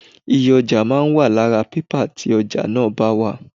Iye ọjà máa ń wà lára pẹpẹ tí ọjà náà bá wà.